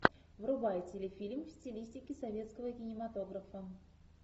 врубай телефильм в стилистике советского кинематографа